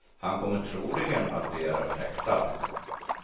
Han kommer troligen att begäras häktad.